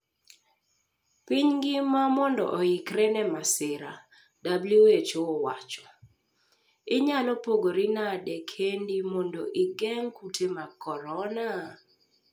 Piny ngima mondo oikre ne masira, WHO owacho. Inyalo pogori nade kendi mondo igeng' kute mag korona?